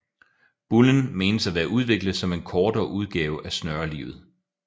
Bullen menes at være udviklet som en kortere udgave af snørelivet